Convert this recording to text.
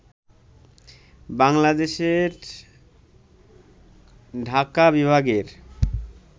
বাংলাদেশর ঢাকা বিভাগের